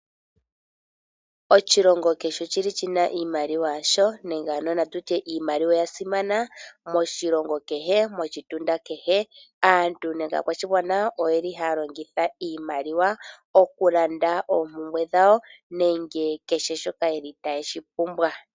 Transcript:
Oshilomgo kehe oshina iimaliwa yasho nenge na tutye iimaliwa oya simana moshilongo kehe, moshitunda kehe. Aantu nenge aakwashigwana oyeli haya longitha iimaliwa okulanda oompumbwe dhawo nenge kehe shoka yeli taye shi pumbwa.